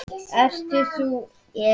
Ert þú Elín?